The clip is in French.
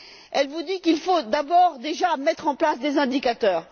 Elle vous dit qu'il faut d'abord mettre en place des indicateurs.